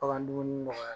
Bagan dumuni nɔgɔya